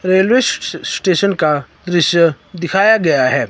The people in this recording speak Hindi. रेलवे स्टेशन का दृश्य दिखाया गया है।